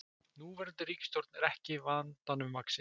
Núverandi ríkisstjórn er ekki vandanum vaxin